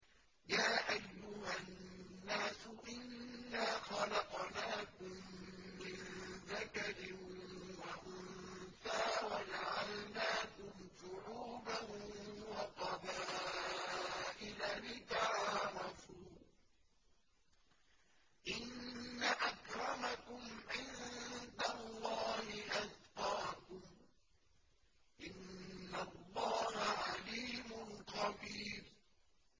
يَا أَيُّهَا النَّاسُ إِنَّا خَلَقْنَاكُم مِّن ذَكَرٍ وَأُنثَىٰ وَجَعَلْنَاكُمْ شُعُوبًا وَقَبَائِلَ لِتَعَارَفُوا ۚ إِنَّ أَكْرَمَكُمْ عِندَ اللَّهِ أَتْقَاكُمْ ۚ إِنَّ اللَّهَ عَلِيمٌ خَبِيرٌ